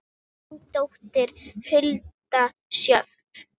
Þín dóttir, Hulda Sjöfn.